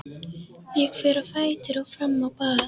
Ég fer á fætur og fram á bað.